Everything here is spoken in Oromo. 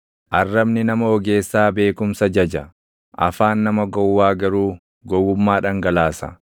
Arrabni nama ogeessaa beekumsa jaja; afaan nama gowwaa garuu gowwummaa dhangalaasa.